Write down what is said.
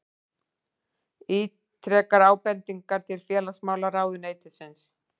Ítrekar ábendingar til félagsmálaráðuneytisins